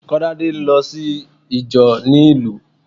Kolade ń lọ sí ìjọ ni ìlú